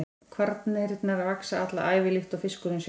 Kvarnirnar vaxa alla ævi líkt og fiskurinn sjálfur.